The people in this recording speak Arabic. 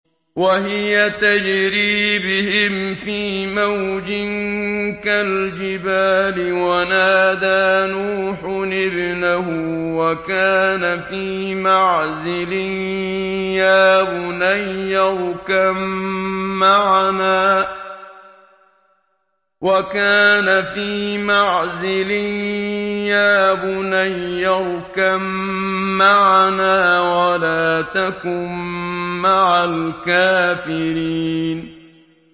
وَهِيَ تَجْرِي بِهِمْ فِي مَوْجٍ كَالْجِبَالِ وَنَادَىٰ نُوحٌ ابْنَهُ وَكَانَ فِي مَعْزِلٍ يَا بُنَيَّ ارْكَب مَّعَنَا وَلَا تَكُن مَّعَ الْكَافِرِينَ